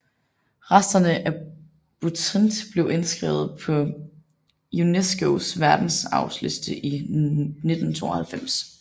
Resterne af Butrint blev indskrevet på UNESCOs Verdensarvsliste i 1992